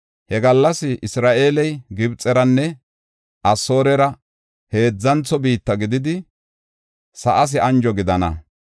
He gallas Isra7eeley Gibxeranne Asoorera heedzantho biitta gididi, sa7aas anjo gidana.